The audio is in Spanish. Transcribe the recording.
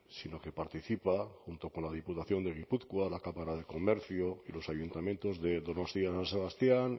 sino que participa junto con la diputación de gipuzkoa la cámara de comercio y los ayuntamientos de donostia san sebastián